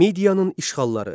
Midiyanın işğalları.